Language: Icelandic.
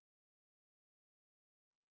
Hvaða áhrif hefur nikótín á líkamann?